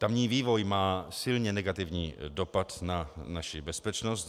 Tamní vývoj má silně negativní dopad na naši bezpečnost.